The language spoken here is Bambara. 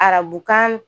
Arabukan